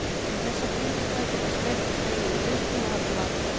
Við þessar kringumstæður getur streitan dregið úr virkni og valdið vanlíðan.